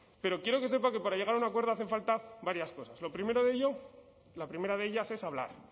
pero quiero que sepa que para llegar a un acuerdo hacen falta varias cosas lo primero de ello la primera de ellas es hablar